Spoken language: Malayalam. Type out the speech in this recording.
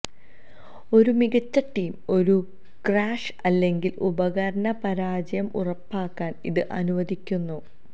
ഒരു മികച്ച ടീം ഒരു ക്രാഷ് അല്ലെങ്കിൽ ഉപകരണ പരാജയം ഉറപ്പാക്കാൻ ഇത് അനുവദിക്കുന്നു